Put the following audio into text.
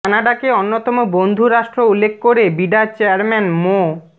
কানাডাকে অন্যতম বন্ধু রাষ্ট্র উল্লেখ করে বিডা চেয়ারম্যান মো